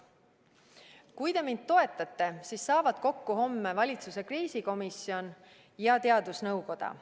Kui te mind toetate, siis saavad homme kokku valitsuse kriisikomisjon ja teadusnõukoda.